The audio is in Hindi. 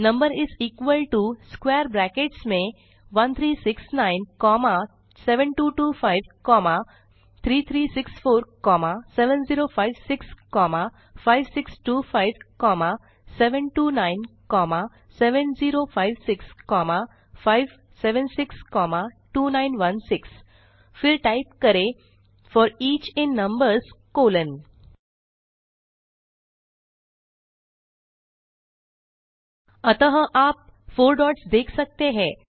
नंबर्स इस इक्वल टो स्क्वैर ब्रैकेट्स में 1369 7225 3364 7056 5625 729 7056 576 2916 फिर टाइप करें for each in numbers colon अतः आप 4 डॉट्स देख सकते हैं